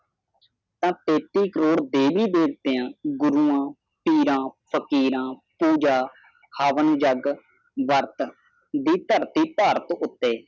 ਤਾ ਤੇਤੀ ਕਰੋੜ ਦੇਵੀ ਦੇਵਤਾ ਦੇ ਗੁਰੁਵਾ ਪੀਰਾ ਫਕੀਰਾ ਪੁਜਾਵਾ ਹਵਨ ਜੱਗ ਵਰਤ ਦੀ ਤਾਰਤੀ ਭਾਰਤ ਉਤੇ